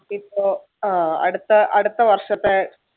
ഇപ്പൊ അഹ് അടുത്ത~ അടുത്ത വർഷത്തെ